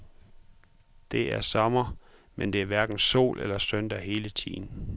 Det er sommer, men det er hverken sol eller søndag hele tiden.